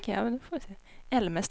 Älmestad